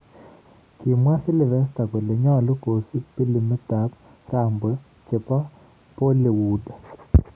Kimwa Sylvester kole nyolu kosiip pilimit ab Rambo chebo Bollywood.